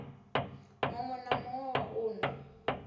muwe na muwe wa uno